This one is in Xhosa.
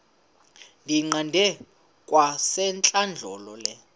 ndiyiqande kwasentlandlolo le